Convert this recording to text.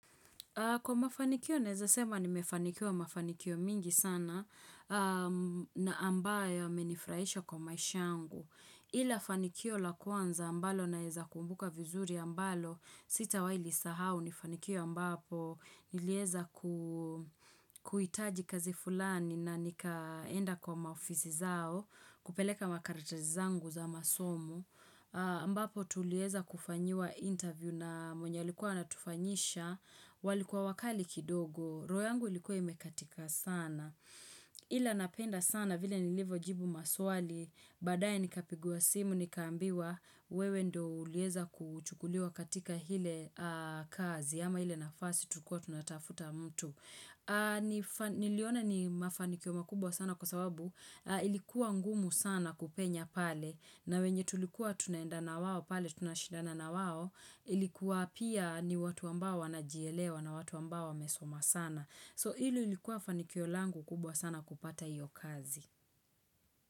Kwa mafanikio naeza sema nimefanikiwa mafanikio mingi sana na ambayo yamenifuraisha kwa maisha angu. Ila fanikio la kwanza ambalo naeza kumbuka vizuri ambalo sitawai lisahau ni fanikio ambapo nilieza kuitaji kazi fulani na nikaenda kwa maofisi zao kupeleka makaratasi zangu za masomo. Ambapo tulieza kufanyiwa interview na mwenye alikuwa anatufanyisha walikuwa wakali kidogo roho yangu ilikuwa imekatika sana Ila napenda sana vile nilivo jibu maswali Baadae nikapigiwa simu nikaambiwa wewe ndo uliweza kuchukuliwa katika ile kazi ama ile nafasi tulikua tunatafuta mtu Niliona ni mafanikio makubwa sana kwa sababu Ilikuwa ngumu sana kupenya pale na wenye tulikuwa tunaenda na wao pale tunashidana na wao ilikuwa pia ni watu ambao wanajielewa na watu ambao wamesoma sana. So ile ilikuwa fanikio langu kubwa sana kupata hiyo kazi.